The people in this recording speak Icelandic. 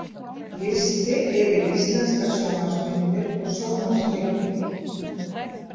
Listi yfir íslenskar sjónvarpsmyndir og sjónvarpsleikrit.